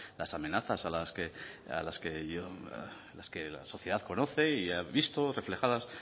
las amenazas que la sociedad conoce y ha visto reflejadas